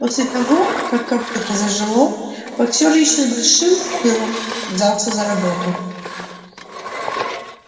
после того как копыто зажило боксёр ещё с большим пылом взялся за работу